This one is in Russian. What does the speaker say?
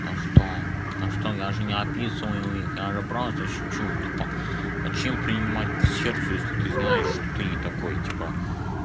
а что я же не описываю их надо просто чуть-чуть а чем принимать к сердцу если ты знаешь что ты не такой типа